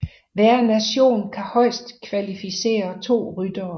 Hver nation kan højst kvalificere to ryttere